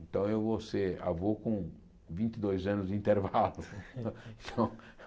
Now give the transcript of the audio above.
Então eu vou ser avô com vinte e dois anos de intervalo. então